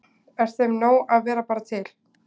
Er þeim nóg að vera bara til?